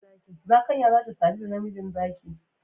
Zakanya za ta sadu da namiji zaki